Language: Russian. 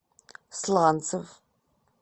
сланцев